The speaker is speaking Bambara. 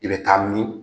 I bɛ taa min